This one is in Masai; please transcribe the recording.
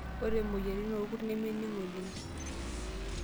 Ore moyaritin orkurt nemening' oleng'.